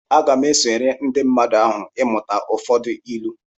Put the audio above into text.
Aga m esonyere ndị mmadụ ahụ ịmụta ụfọdụ ịlu